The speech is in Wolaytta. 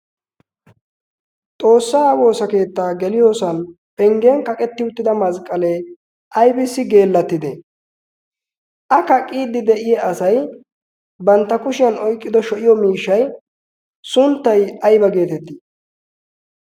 xoossaa woosa keettaa geliyoosan penggen kaqetti uttida masqqalee aibisi geellattide a kaqqiiddi de'iya asay bantta kushiyan oyqqido sho'iyo miishshay sunttay ayba geetettii?